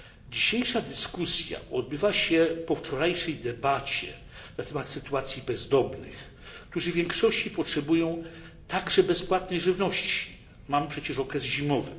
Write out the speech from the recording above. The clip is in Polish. Dzisiejsza dyskusja odbywa się po wczorajszej debacie na temat sytuacji bezdomnych, którzy w większości potrzebują także bezpłatnej żywności. Mamy przecież okres zimowy.